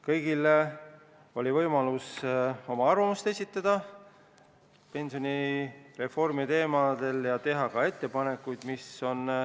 Kõigil oli võimalus avaldada arvamust pensionireformi kohta ja teha ka ettepanekuid.